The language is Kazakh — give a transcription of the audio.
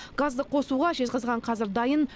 газды қосуға жезқазған қазір дайын